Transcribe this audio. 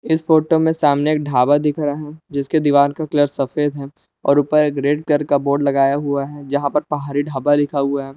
इस फोटो में सामने एक ढाबा दिख रहा है जिसके दीवार का कलर सफेद है और ऊपर एक रेड कलर का बोर्ड लगाया हुआ है जहां पर पहाड़ी ढाबा लिखा हुआ है।